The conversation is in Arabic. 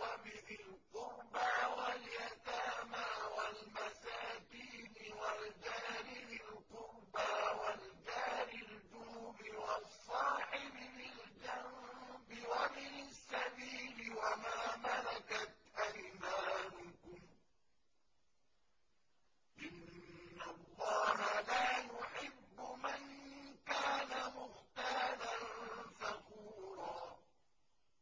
وَبِذِي الْقُرْبَىٰ وَالْيَتَامَىٰ وَالْمَسَاكِينِ وَالْجَارِ ذِي الْقُرْبَىٰ وَالْجَارِ الْجُنُبِ وَالصَّاحِبِ بِالْجَنبِ وَابْنِ السَّبِيلِ وَمَا مَلَكَتْ أَيْمَانُكُمْ ۗ إِنَّ اللَّهَ لَا يُحِبُّ مَن كَانَ مُخْتَالًا فَخُورًا